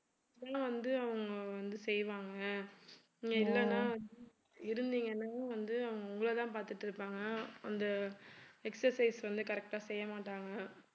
சும்மா வந்து அவங்க வந்து செய்வாங்க நீங்க இல்லனா~ இருந்தீங்கன்னா வந்து அவங்க உங்கள தான் பார்த்திட்டிருப்பாங்க அந்த exercise வந்து correct ஆ செய்ய மாட்டாங்க